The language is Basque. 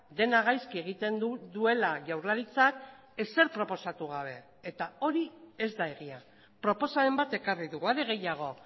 dena gaizki egiten duela jaurlaritzak ezer proposatu gabe eta hori ez da egia proposamen bat ekarri dugu are gehiago